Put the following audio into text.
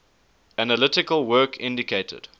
analytic work indicated